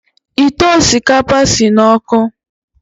Ite osikapa si n’ọkụ